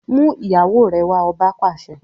Mú ìyàwó rẹ wá! Ọba pàṣẹ.